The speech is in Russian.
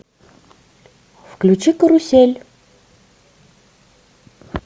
включи карусель